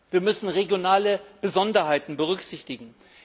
Wir müssen regionale Besonderheiten berücksichtigen.